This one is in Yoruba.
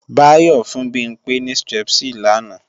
Báyọ́ fún Bimpé ní Strepsil làná